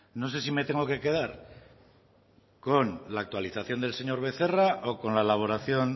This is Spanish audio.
no sé si me tengo que quedar con la actualización del señor becerra o con la elaboración